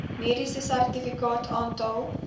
mediese sertifikaat aantal